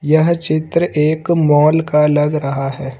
यह चित्र एक माल का लग रहा है।